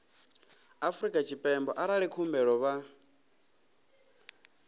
afrika tshipembe arali khumbelo vha